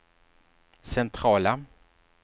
centrala